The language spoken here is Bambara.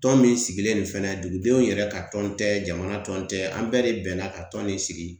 Tɔn min sigilen nin fɛnɛ dugudenw yɛrɛ ka tɔn tɛ jamana tɔn tɛ an bɛɛ de bɛnna ka tɔn nin sigi